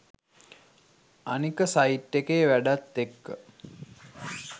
අනික සයිට් එකේ වැඩත් එක්ක